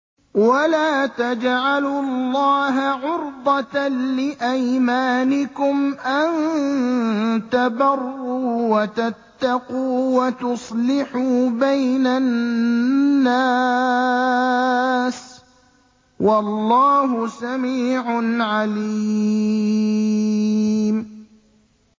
وَلَا تَجْعَلُوا اللَّهَ عُرْضَةً لِّأَيْمَانِكُمْ أَن تَبَرُّوا وَتَتَّقُوا وَتُصْلِحُوا بَيْنَ النَّاسِ ۗ وَاللَّهُ سَمِيعٌ عَلِيمٌ